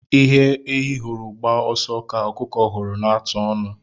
Ihe ehi hụrụ gbaa ọsọ ka ọkụkọ hụrụ na-atụ ọnu.